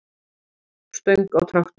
stöng á traktor.